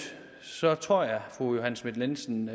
tror jeg fru johanne schmidt nielsen